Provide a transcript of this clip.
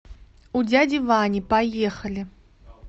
у дяди вани поехали